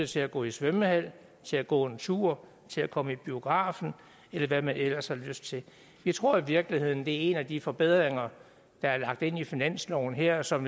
til at gå i svømmehallen til at gå en tur til at komme i biografen eller hvad de ellers har lyst til jeg tror i virkeligheden det er en af de forbedringer der er lagt ind i finansloven her som